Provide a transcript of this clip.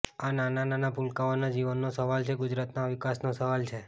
આ નાના નાના ભૂલકાઓના જીવનનો સવાલ છે ગુજરાતના વિકાસનો સવાલ છે